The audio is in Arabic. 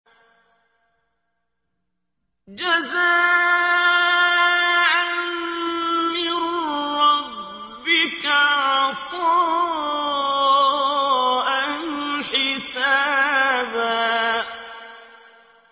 جَزَاءً مِّن رَّبِّكَ عَطَاءً حِسَابًا